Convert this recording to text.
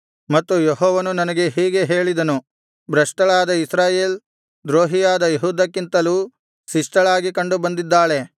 ಮತ್ತು ಯೆಹೋವನು ನನಗೆ ಹೀಗೆ ಹೇಳಿದನು ಭ್ರಷ್ಟಳಾದ ಇಸ್ರಾಯೇಲ್ ದ್ರೋಹಿಯಾದ ಯೆಹೂದಕ್ಕಿಂತಲೂ ಶಿಷ್ಟಳಾಗಿ ಕಂಡುಬಂದಿದ್ದಾಳೆ